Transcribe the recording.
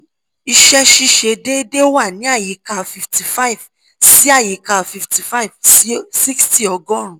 iṣẹ́ ṣiṣe déédéé wa ni ayika fifty five si àyíká fifty five si sixty ọgọ́rùn-ún